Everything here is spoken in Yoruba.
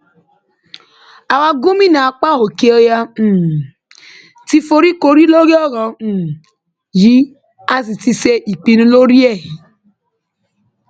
àwa gómìnà apá òkè ọyà um ti foríkorí lórí ọrọ um yìí a sì ti ṣe ìpinnu lórí ẹ